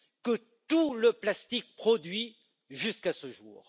que tout le plastique produit jusqu'à ce jour.